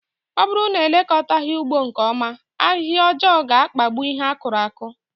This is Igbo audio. Ọ bụrụ na elekọtaghi ugbo nke ọma, ahịhịa ọjọọ ga-akpagbụ ihe akuru aku